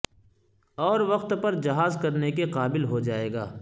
اور وقت پر جہاز کرنے کے قابل ہو جائے گا